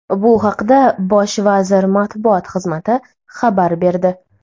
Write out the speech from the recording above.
Bu haqda bosh vazir matbuot xizmati xabar berdi .